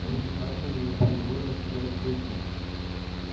руки хардина непроизвольно сжались в кулаки